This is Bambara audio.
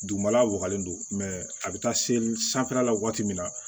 Dugumala wɔgɔnin don a bɛ taa seli sanfɛla la waati min na